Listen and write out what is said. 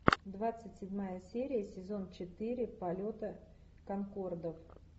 двадцать седьмая серия сезон четыре полета конкордов